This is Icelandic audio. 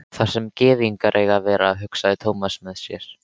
Þar sem gyðingar eiga að vera, hugsaði Thomas með sér.